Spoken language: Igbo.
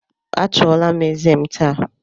A chọula m eze m taa